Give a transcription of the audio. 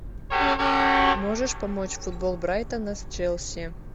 можешь помочь футбол брайтона с челси